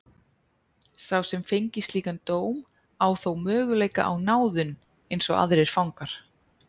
Sá sem fengi slíkan dóm á þó möguleika á náðun eins og aðrir fangar.